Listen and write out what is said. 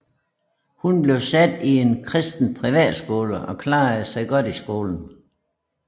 Hun blev sat i en kristen privatskole og klarede sig godt i skolen